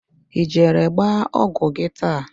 Ị jere gba ọgwụ gị taa?